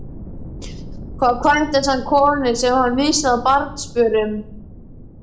Þá kvæntist hann konunni sem hann missti af barnsförum.